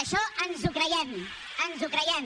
això ens ho creiem ens ho creiem